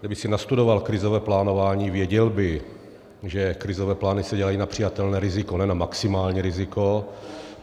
Kdyby si nastudoval krizové plánování, věděl by, že krizové plány se dělají na přijatelné riziko, ne na maximální riziko.